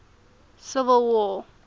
civil war